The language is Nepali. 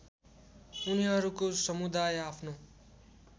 उनीहरूको समुदाय आफ्नो